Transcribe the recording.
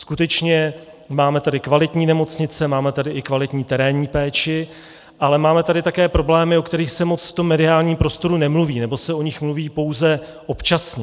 Skutečně, máme tady kvalitní nemocnice, máme tady i kvalitní terénní péči, ale máme tady také problémy, o kterých se moc v tom mediálním prostoru nemluví, nebo se o nich mluví pouze občasně.